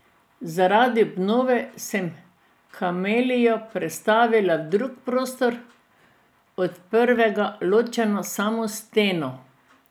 Zaradi obnove sem kamelijo prestavila v drug prostor, od prvega ločen samo s steno.